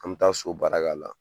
An mi taa so baara ka la